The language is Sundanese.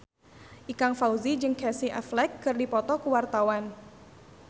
Ikang Fawzi jeung Casey Affleck keur dipoto ku wartawan